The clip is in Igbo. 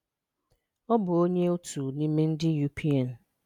Ọ̀ bụ́ onye otu n’ime ndị UPN.